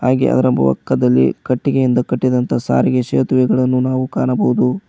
ಹಾಗೆ ಅದರ ಬೊಕ್ಕದಲ್ಲಿ ಕಟ್ಟಿಗೆಯಿಂದ ಕಟ್ಟಿದಂತ ಸಾರಿಗೆ ಸೇತುವೆಗಳನ್ನು ನಾವು ಕಾಣಬಹುದು.